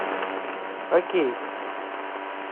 хоккей